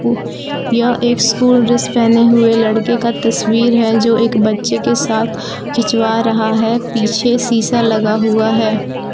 यह एक school dress पहने हुए लड़के का तस्वीर है जो एक बच्चे के साथ खिंचवा रहा है पीछे सीसा लगा हुआ है।